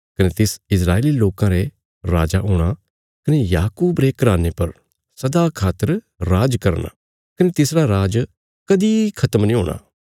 कने तिस इस्राएली लोकां रे राजा हूणा कने याकूब रे घराने पर सदा खातर राज करना कने तिसरा राज कदीं खत्म नीं हूणा